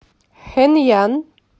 хэнъян